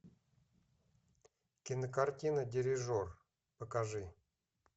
кинокартина дирижер покажи